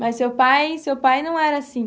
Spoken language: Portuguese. Mas seu pai, seu pai não era assim?